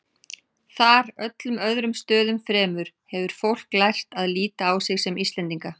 Þar, öllum öðrum stöðum fremur, hefur fólk lært að líta á sig sem Íslendinga.